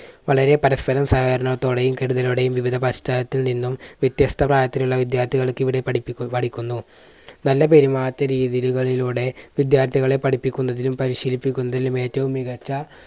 വളരെ പരസ്പരം സഹകരണത്തോടെയും കരുതലോടെയും വിവിധ പശ്ചാത്തിൽ നിന്നും വ്യത്യസ്ത പ്രായത്തിലുള്ള വിദ്യാർത്ഥികൾ ഇവിടെ പഠിപ്പി പഠിക്കുന്നു. നല്ല പെരുമാറ്റ രീതികളിലൂടെ വിദ്യാർഥികളെ പഠിപ്പിക്കുന്നതിലും പരിശീലിപ്പിക്കുന്നതിലും ഏറ്റവും മികച്ച